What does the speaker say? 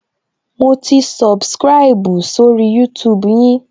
Mo ti subscribu sórí YouTube yin